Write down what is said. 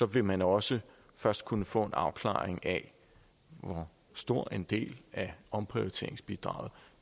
vil man også først kunne få en afklaring af hvor stor en del af omprioriteringsbidraget